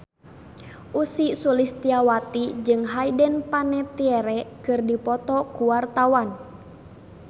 Ussy Sulistyawati jeung Hayden Panettiere keur dipoto ku wartawan